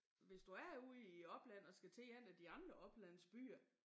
Hvis du er ude i æ opland og skal til en af de andre oplandsbyer